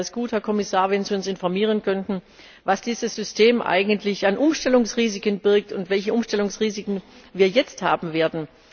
Deswegen wäre es gut, Herr Kommissar, wenn Sie uns informieren könnten, was dieses System eigentlich an Umstellungsrisiken birgt und welche Umstellungsrisiken wir jetzt haben werden.